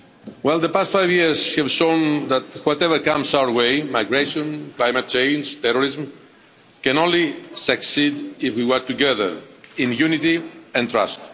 Well the past five years have shown that whatever comes our way migration, climate change, terrorism can only succeed if we work together in unity and trust.